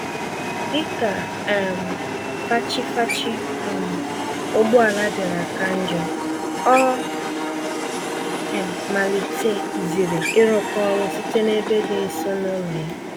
Dịka um fachi-fachi um ụgbọala bịara ka njọ, ọ um malite ziri ịrụkọ ọrụ site n'ebe dị nso n'ụlọ ya.